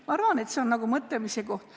Ma arvan, et see on mõtlemise koht.